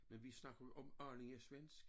Men vi snakkede jo om âllinga-svensk